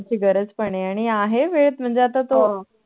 त्याची गरज पण आहे आणि आहे वेळ म्हणजे तो